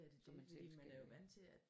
Så man selv skal øh